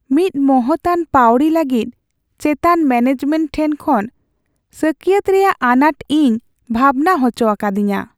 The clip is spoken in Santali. ᱢᱤᱫ ᱢᱚᱦᱚᱛᱟᱱ ᱯᱟᱹᱣᱲᱤ ᱞᱟᱹᱜᱤᱫ ᱪᱮᱛᱟᱱ ᱢᱮᱱᱮᱡᱢᱮᱱᱴ ᱴᱷᱮᱱ ᱠᱷᱚᱱ ᱥᱟᱹᱠᱭᱟᱹᱛ ᱨᱮᱭᱟᱜ ᱟᱱᱟᱴ ᱤᱧ ᱵᱷᱟᱵᱱᱟ ᱦᱚᱪᱚ ᱟᱠᱟᱫᱤᱧᱟᱹ ᱾